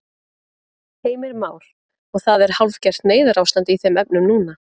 Heimir Már: Og það er hálfgert neyðarástand í þeim efnum núna?